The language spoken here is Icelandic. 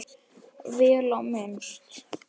Vel á minnst.